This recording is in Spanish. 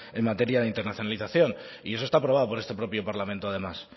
en materia de internacionalización y eso está aprobado por este propio parlamento además